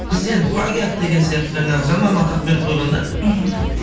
бізде енді плагиат деген сияқты жаңағы жаман атақ беріп қойған да мхм